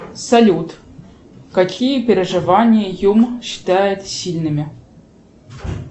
салют какие переживания юм считает сильными